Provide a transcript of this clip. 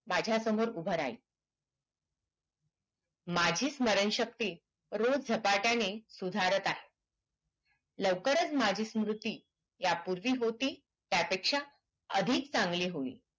माझ्यासमोर उभ राहील माझी स्मरण शक्ति रोज झपाट्याने सुधारात आहे लवकरच माझी स्मूरती ह्या पूर्वी होती त्या पेक्षा अधिक चांगली होईल